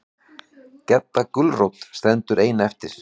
Gedda gulrót stendur ein eftir.